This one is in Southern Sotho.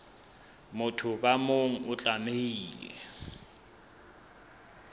motho ka mong o tlamehile